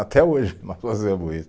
Até hoje nós fazemos isso.